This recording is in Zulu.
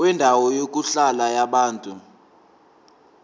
kwendawo yokuhlala yabantu